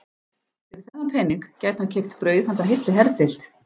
Fyrir þennan pening gæti hann keypt brauð handa heilli herdeild.